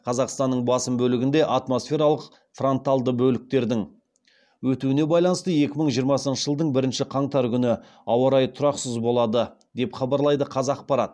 қазақстанның басым бөлігінде атмосфералық фронталды бөліктердің өтуіне байланысты екі мың жиырмасыншы жылдың бірінші қаңтары күні ауа райы тұрақсыз болады деп хабарлайды қазақпарат